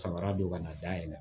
Samara don ka na dayɛlɛ